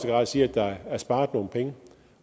grad sige at der er sparet nogle penge